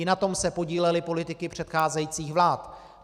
I na tom se podílely politiky předcházejících vlád.